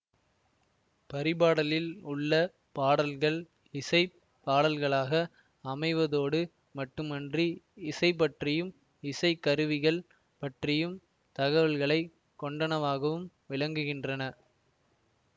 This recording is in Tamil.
பரிபாடலில் உள்ள பாடல்கள் இசை பாடல்களாக அமைவதோடு மட்டுமன்றி இசைபற்றியும் இசை கருவிகள் பற்றியும் தகவல்களை கொண்டனவாகவும் விளங்குகின்றன